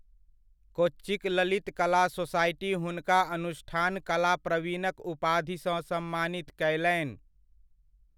कोच्चिक Lalit Kala society हुनका अनुष्ठान कला प्रवीणक उपाधिसँ सम्मानित कयलनि।